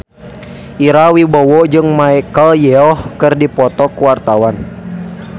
Ira Wibowo jeung Michelle Yeoh keur dipoto ku wartawan